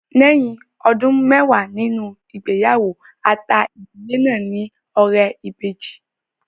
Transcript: Lẹ́yìn ọdún mẹwàá nínú ìgbéyàwó, a ta ìdílé náà ní ọrẹ ìbejì